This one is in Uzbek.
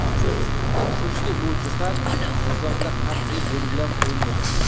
Afsuski, bu jihat nizomda qat’iy belgilab qo‘yilmagan.